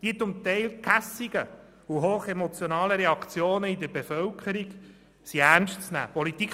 Die zum Teil gehässigen und hochemotionalen Reaktionen seitens der Bevölkerung sind ernst zu nehmen.